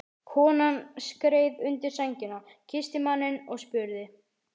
Konan skreið undir sængina, kyssti manninn og spurði